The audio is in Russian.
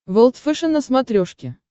волд фэшен на смотрешке